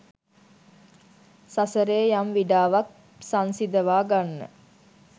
සසරේ යම් විඩාවක් සන්සිදවා ගන්න